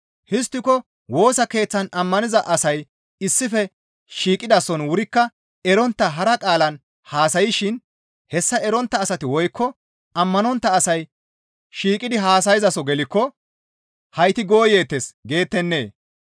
Histtiko Woosa Keeththan ammaniza asay issife shiiqidason wurikka erontta hara qaalan haasayshin hessa erontta asati woykko ammanontta asay shiiqidi haasayzaaso gelikko, «Hayti gooyeettes» geettennee?